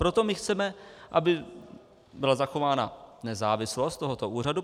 Proto my chceme, aby byla zachována nezávislost tohoto úřadu.